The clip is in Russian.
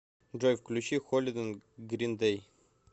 джой включи холидэй грин дэй